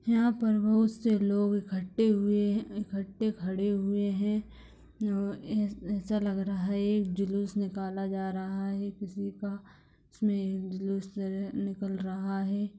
यहाँ पर बहुत से लोग इकट्ठे हुए है इकट्ठे खड़े हुए है ए ऐसा लग रहा है जुलुस निकला जा रहा है किसी का | निकल रहा है।